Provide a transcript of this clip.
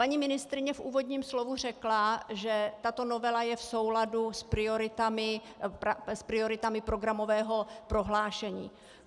Paní ministryně v úvodním slovu řekla, že tato novela je v souladu s prioritami programového prohlášení.